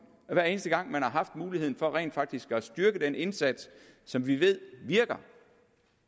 at hver eneste gang man har haft muligheden for rent faktisk at styrke den indsats som vi ved virker